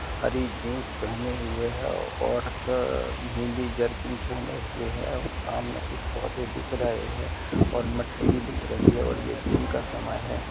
हरी jeans पहने हुए है और सर नीली जेर्किन पहने हुए है और सामने कुछ पौधे दिख रहे है और मट्टी भी दिख रही है और ये दिन का समय है।